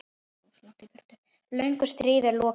Löngu stríði er lokið.